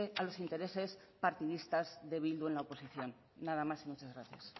a los intereses partidistas de bildu en la oposición nada más y muchas gracias